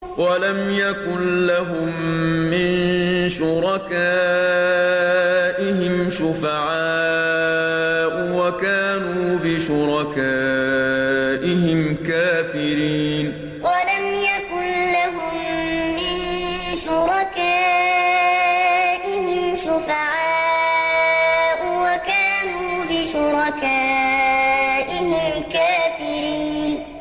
وَلَمْ يَكُن لَّهُم مِّن شُرَكَائِهِمْ شُفَعَاءُ وَكَانُوا بِشُرَكَائِهِمْ كَافِرِينَ وَلَمْ يَكُن لَّهُم مِّن شُرَكَائِهِمْ شُفَعَاءُ وَكَانُوا بِشُرَكَائِهِمْ كَافِرِينَ